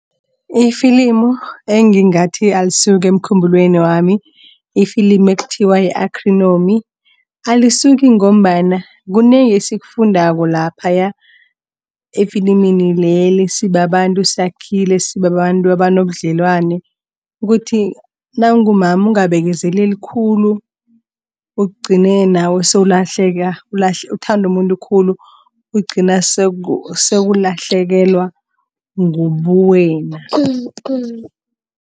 Ifilimu engingathi alisuki emkhumbulwenami ifilimu ekuthiwa yi-Acrinomy alisuki ngombana kunengi esifundako laphaya efilimini leli sibabantu sakhile sibabantu abanobudlelwana. Ukuthi nawungumama ungabekezeleli khulu ugcine nawe sewulahleka uthanda umuntu khulu ugcine sewulahlekelwa ngubuwena.